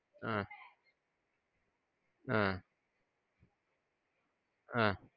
ஆ ஆ ஆ